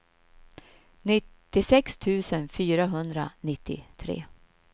nittiosex tusen fyrahundranittiotre